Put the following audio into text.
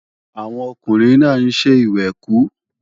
Àwọn ọkùnrin náà ń ṣe ìwẹ̀kú